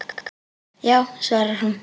Já, svarar hún.